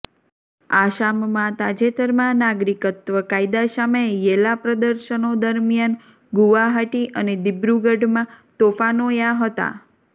આસામમાં તાજેતરમાં નાગરિકત્વ કાયદા સામે યેલા પ્રદર્શનો દરમિયાન ગુવાહાટી અને દીબ્રુગઢમાં તોફાનો યા હતા